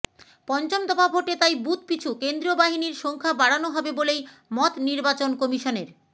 পঞ্চম দফা ভোটে তাই বুথ পিছু কেন্দ্রীয় বাহিনীর সংখ্যা বাড়ানো হবে বলেই মত নির্বাচন কমিশনের